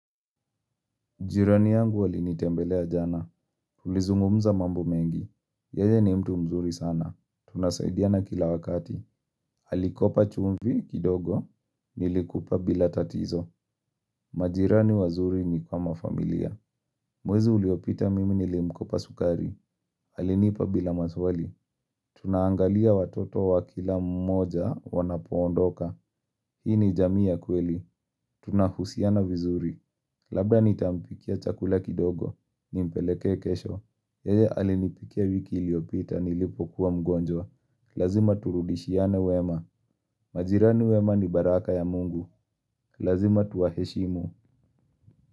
Jirani yangu alinitembelea jana. Tulizungumza mambo mengi. Yeye ni mtu mzuri sana. Tunasaidiana kila wakati. Alikopa chumvi kidogo. Nilikupa bila tatizo. Majirani wazuri ni kama familia. Mwezi uliopita mimi nilimkopa sukari. Alinipa bila maswali. Tunaangalia watoto wa kila mmoja wanapoondoka. Hii ni jamii ya kweli. Tunahusiana vizuri. Labda nitampikia chakula kidogo. Nimpeleke kesho, yeye alinipikia wiki iliyopita nilipo kuwa mgonjwa Lazima turudishiane wema, majirani wema ni baraka ya mungu Lazima tuwaheshimu.